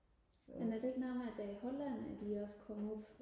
men er det ikke noget med at det er i Holland at de også kommer op